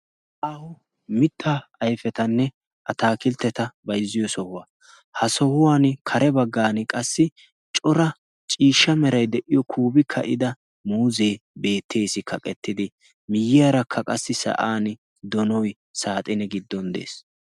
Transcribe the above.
a mittaa ayfetanne a taakiltteta baizziyo sohuwaa ha sohuwan kare baggan qassi cora ciishsha merai de'iyo kuubi ka'ida muuzee beettees. kaqettidi miyyiyaarakka qassi sa'an donoy saaxine giddon de'ees.